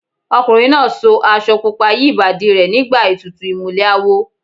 Ọkùnrin náà so aṣọ pupa yí Ìbàdí rẹ̀ nígbà ètùtù ìmùlẹ̀ awo.